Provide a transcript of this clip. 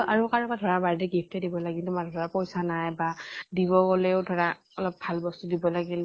আৰু কাৰবাক ধৰা birthday gift দিব লাগিল, তোমাৰ ধৰা পইচা নাই বা দিব গলেও ধৰা অলপ ভাল বস্তু দিব লাগিল